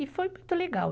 E foi muito legal.